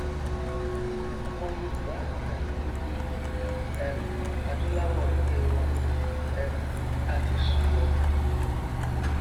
ọmọ yorùbá àti gbogbo um adúláwọ ẹgbẹ ẹ wa um a ti sùnlọ